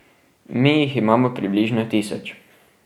Mi jih imamo približno tisoč.